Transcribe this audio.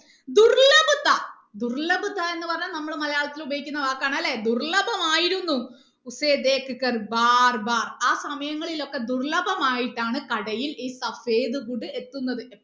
എന്ന് പറഞ്ഞാൽ നമ്മളെ മലയാളത്തിൽ ഉപയോഗിക്കുന്ന വാക്കാണ് അല്ലെ ദുർലഭമായിരുന്നു ആ സമയങ്ങളിലൊക്കെ ദുർലഭമായിട്ടാണ് കടയിൽ ഈ എത്തുന്നത്